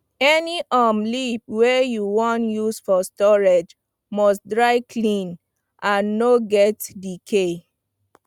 any um leaf wey you wan use for storage must dry clean and no get decay